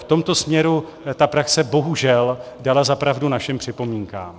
V tomto směru praxe bohužel dala za pravdu našim připomínkám.